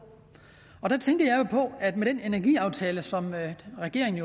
i på at med den energiaftale som regeringen